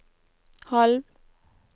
halv